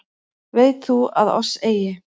Veit þú að oss eigi